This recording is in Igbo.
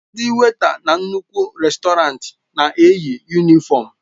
Ndị wèịta na nnukwu rèstọrantị na-eyi yunịfọmu.